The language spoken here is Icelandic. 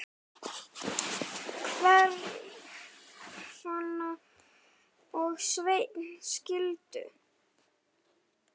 Hrefna og Sveinn skildu.